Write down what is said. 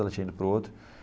Ela tinha ido para o outro.